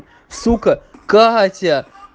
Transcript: сука катя